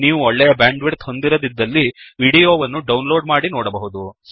ನೀವು ಒಳ್ಳೆಯ ಬ್ಯಾಂಡ್ವಿಡ್ತ್ ಹೊಂದಿರದಿದ್ದಲ್ಲಿ ವಿಡಿಯೋ ವನ್ನು ಡೌನ್ಲೋಡ್ ಮಾಡಿ ನೋಡಬಹುದು